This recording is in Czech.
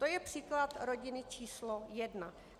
To je příklad rodiny číslo jedna.